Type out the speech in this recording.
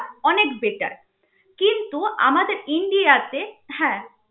অনেক better কিন্তু আমাদের ইন্ডিয়াতে হ্যা